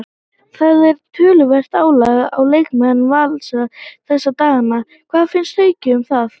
Það er töluvert álag á leikmenn Vals þessa dagana, hvað finnst Hauki um það?